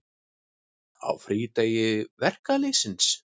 Á frídegi verkalýðsins.